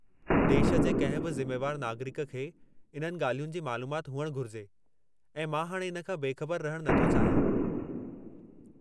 देश जे कंहिं बि ज़िमेवार नागरिक खे इन्हनि ॻाल्हियुनि जी मालूमाति हुअणु घुरिजे ऐं मां हाणे इन खां बेख़बरु रहणु नथो चाहियां।